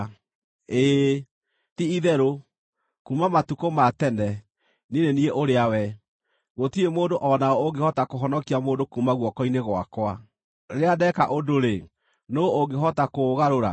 “Ĩĩ, ti-itherũ, kuuma matukũ ma tene, niĩ nĩ niĩ ũrĩa we. Gũtirĩ mũndũ o na ũ ũngĩhota kũhonokia mũndũ kuuma guoko-inĩ gwakwa. Rĩrĩa ndeka ũndũ-rĩ, nũũ ũngĩhota kũũgarũra?”